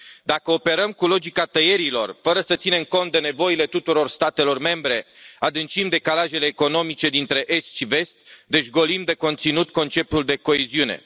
Dacă operăm cu logica tăierilor fără să ținem cont de nevoile tuturor statelor membre, adâncim decalajele economice dintre est și vest, deci golim de conținut conceptul de coeziune.